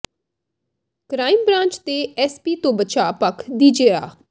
crime branch ਦੇ ਐੱਸਪੀ ਤੋਂ ਬਚਾਅ ਪੱਖ ਦੀ ਜਿਰ੍ਹਾ